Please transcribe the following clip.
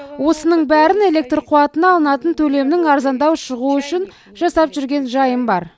осының бәрін электр қуатына алынатын төлемнің арзандау шығуы үшін жасап жүрген жайым бар